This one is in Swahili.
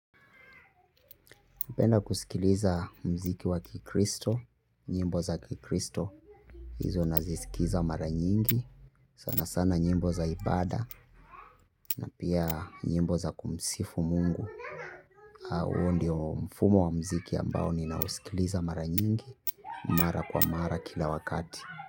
Hupenda kusikiliza muziki wa kikristo. Nyimbo za kikristo hizo nazisikiza mara nyingi sana sana nyimbo za ibada na pia nyimbo za kumsifu Mungu huo ndio mfumo wa muziki ambao ninausikiliza mara nyingi. Mara kwa mara kila wakati.